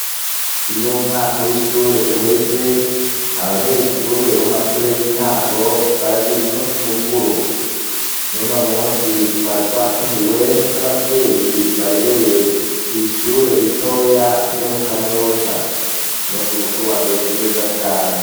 Iyo umwaka w'ishure uheze, abanyeshure bomumashure y'intango baragira umusi mukuru, nuno musi twari twatumiwe nk'abavyeyi barereye kw'ishure ritoya ryo mu kanyosha, umusi mukuru wagenze neza cane.